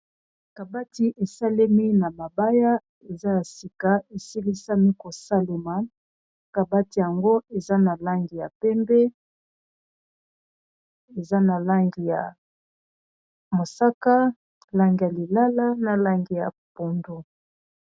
kabati esalemi na mabaya eza ya sika esilisami kosalema kabati yango eza na langi ya pembe eza na langi ya mosaka langi ya lilala na langi ya pondo